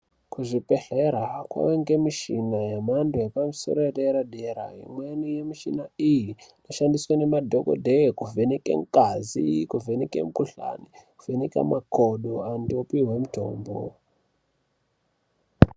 Ku zvibhedhlera kunge nemishina ye mando ye dera dera imweni ye kishina iyi inoshandiswa ne madhokoteya kuvheneka ngazi, kuvheneka mu kuhlani ne kuvheneka makodo antu opuhwe mutombo.